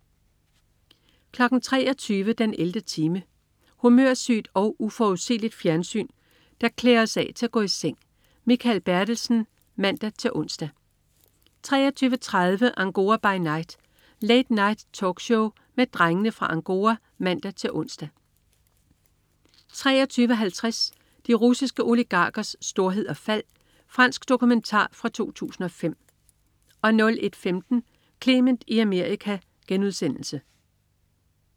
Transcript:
23.00 den 11. time. Humørsygt og uforudsigeligt fjernsyn, der klæder os af til at gå i seng. Mikael Bertelsen (man-ons) 23.30 Angora by Night. Late Night-talkshow med Drengene fra Angora (man-ons) 23.50 De russiske oligarkers storhed og fald. Fransk dokumentar fra 2005 01.15 Clement i Amerika*